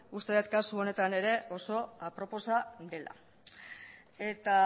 uste dut kasu honetan ere oso aproposa dela eta